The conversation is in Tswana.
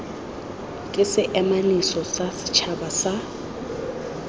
ke seemanosi sa setšhaba sa